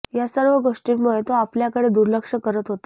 या सर्व गोष्टींमुळे तो आपल्याकडे दुर्लक्ष करत होता